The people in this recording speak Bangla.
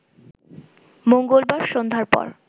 মঙ্গলবার সন্ধ্যার পর